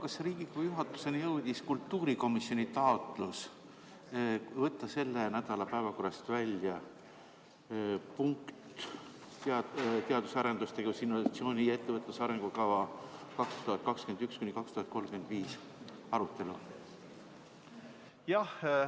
Kas Riigikogu juhatuseni jõudis kultuurikomisjoni taotlus võtta selle nädala päevakorrast välja "Eesti teadus- ja arendustegevuse, innovatsiooni ja ettevõtluse arengukava 2021–2035" arutelu?